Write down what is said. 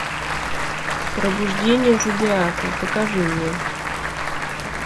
пробуждение зодиака покажи мне